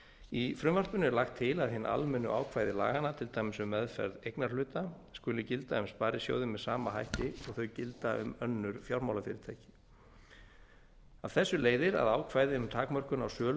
í frumvarpinu er lagt til að hin almennu ákvæði laganna til dæmis um meðferð eignarhluta skuli gilda um sparisjóði með sama hætti og þau gilda um önnur fjármálafyrirtæki af þessu leiðir að ákvæði um takmörkun á sölu